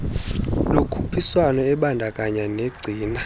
lokhuphiswano ebandakanya negcina